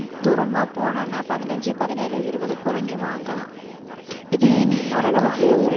தூரமா போனோம்ன்னா பதினஞ்சு பதினேழு இருபது கூட நீ வாங்கலாம். இதே நீ